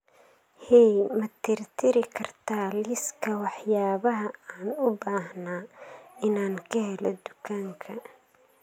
hey ma tirtiri kartaa liiska waxyaabaha aan u baahnaa inaan ka helo dukaanka